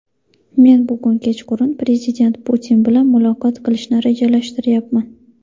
Men bugun kechqurun Prezident Putin bilan muloqot qilishni rejalashtiryapman.